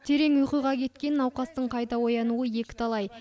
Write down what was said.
терең ұйқыға кеткен науқастың қайта оянуы екіталай